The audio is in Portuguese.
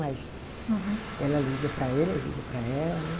Mas. Uhum. Ela liga para ele, ele liga para ela, né?